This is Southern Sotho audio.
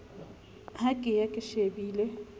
ha ke ya ke shebile